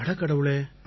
அடக்கடவுளே